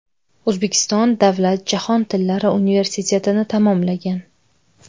O‘zbekiston davlat jahon tillari universitetini tamomlagan.